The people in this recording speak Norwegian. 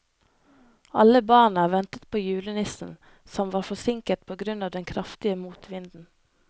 Alle barna ventet på julenissen, som var forsinket på grunn av den kraftige motvinden.